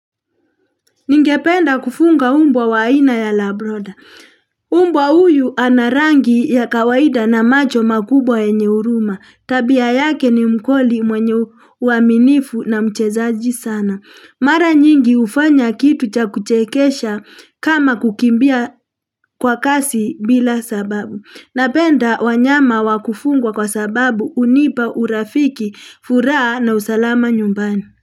Ningependa kufuga mbwa wa ina ya labroda. Mbwa uyu anarangi ya kawaida na macho makubwa yenyeuruma. Tabia yake ni mkoli mwenye uaminifu na mchezaji sana. Mara nyingi ufanya kitu cha kuchekesha kama kukimbia kwa kasi bila sababu. Napenda wanyama wakufungwa kwa sababu unipa urafiki, furaa na usalama nyumbani.